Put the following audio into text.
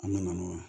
An bɛ na n'o ye